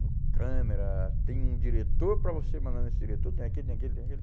No câmera, tem um diretor para você mandar nesse diretor, tem aquele, tem aquele, tem aquele.